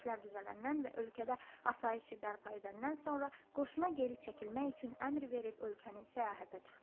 İşlər düzələndən və ölkədə asayişi bərpa edəndən sonra qoşuna geri çəkilmək üçün əmr verib ölkəni səyahətə çıxdı.